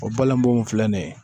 O balbo filɛ nin ye